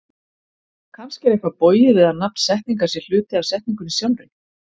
Kannski er eitthvað bogið við að nafn setningar sé hluti af setningunni sjálfri?